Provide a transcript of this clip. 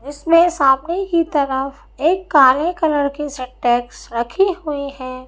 इसमें सामने की तरफ एक काले कलर की सिंटेक्स रखी हुई है।